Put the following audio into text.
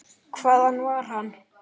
Hvaðan var hann?